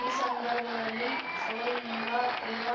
ಈ ಸಂದರ್ಭದಲ್ಲಿ ಸೋಲಿನಿಂದ ತ್ರಿವಾ